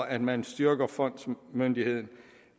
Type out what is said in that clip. at man styrker fondsmyndigheden